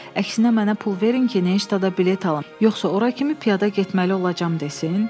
Əksinə mənə pul verin ki, Neştada bilet alım, yoxsa ora kimi piyada getməli olacam desin?